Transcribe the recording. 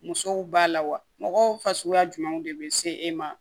Musow b'a la wa mɔgɔ fasuguya jumɛnw de bɛ se e ma